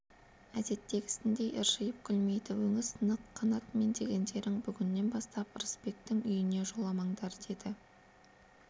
әдеттегісіндей ыржиып күлмейді өңі сынық қанат мен дегендерің бүгіннен бастап ырысбектің үйіне жоламаңдар деді